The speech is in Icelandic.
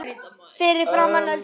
Fyrir framan Öldu.